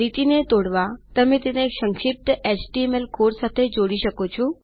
લીટીને તોડવા તમે તેને સંક્ષિપ્ત એચટીએમએલ કોડ સાથે જોડી શકો